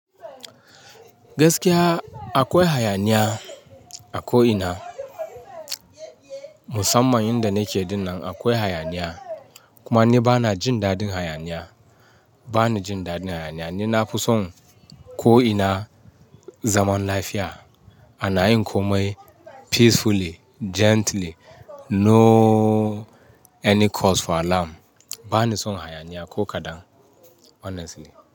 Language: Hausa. Gaskiya akwai hayaniya a ko ina. Musamman inda nake ɗinnan akwai hayaniya. Kuma ni bana jin daɗin hayaniya. Bana jin dadin hayaniya. Ni na fi son ko ina zaman lafiya. Ana yin komai peacefully, gently, no any cause for alarm. Bani son hayaniya ko kaɗan honestly.